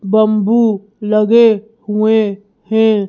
Bamboo लगे हुए हैं।